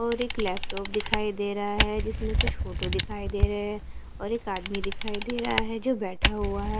और एक लैपटॉप दिखाई दे रहा है जिसमें कुछ फोटो दिखाई दे रहे हैं और एक आदमी दिखाई दे रहा है जो बैठा हुआ है।